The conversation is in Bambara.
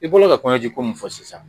I bolo ka kɔɲɔji ko mun fɔ sisan.